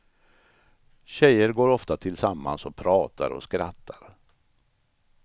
Tjejer går ofta tillsammans och pratar och skrattar.